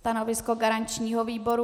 Stanovisko garančního výboru?